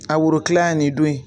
A woro kilan ye nin don ye